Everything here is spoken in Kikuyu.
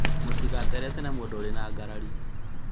mũtigaterete na mũndũ ũrĩ ngarĩinĩ